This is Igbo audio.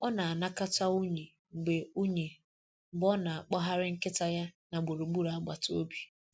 Ọ na-anakọta unyi mgbe unyi mgbe ọ na-akpọgharị nkịta ya na gburugburu agbata obi.